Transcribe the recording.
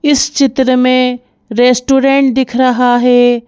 इस चित्र में रेस्टोरेंट दिख रहा है।